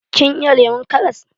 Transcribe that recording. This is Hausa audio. Kin iya lemon karas?